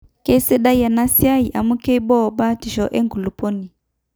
keisidai ena siai amu keibooo batisho enkulupuoni